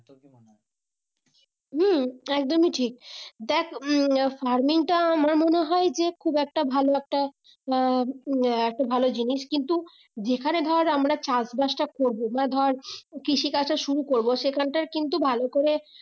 হুম একদমই ঠিক দেখ উম farming টা আমার মনে হয় যে খুব একটা ভালো একটা আহ উম একটা ভালো জিনিস কিন্তু যেখানে ধর আমরা চাষবাসটা করবো বা ধর কৃষি কাজ টা শুরু করবো সেখানটার কিন্তু ভালো করে